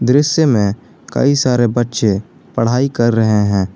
दृश्य में कई सारे बच्चे पढ़ाई कर रहे हैं।